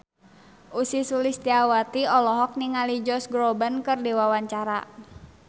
Ussy Sulistyawati olohok ningali Josh Groban keur diwawancara